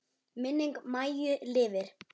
Minning Maju lifir.